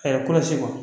kolosi kɔ